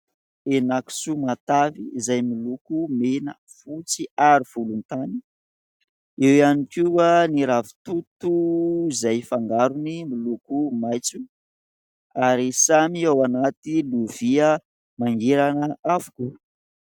Henan-kisoa matavy izay miloko mena, fotsy ary volontany ; eo ihany koa ny ravitoto izay fangarony miloko maitso ary samy ao anaty lovia mangirana avokoa.